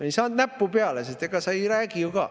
Ei saanud näppu peale, sest ega sa ei räägi ju ka.